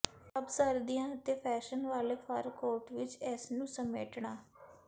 ਸਭ ਸਰਦੀਆਂ ਅਤੇ ਫੈਸ਼ਨ ਵਾਲੇ ਫਰ ਕੋਟ ਵਿੱਚ ਇਸ ਨੂੰ ਸਮੇਟਣਾ